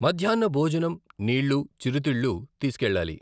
మధ్యాహ్న భోజనం, నీళ్లు, చిరుతిళ్లు తీసుకెళ్లాలి.